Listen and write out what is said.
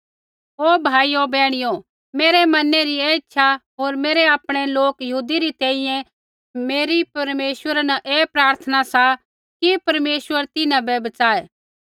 ओ भाइयो बैहणियो मेरै मनै री ऐ इच्छा होर मेरै आपणै लोक यहूदी री तैंईंयैं मेरी परमेश्वरा न ऐ प्रार्थना सा कि परमेश्वर तिन्हां बै बच़ाऐ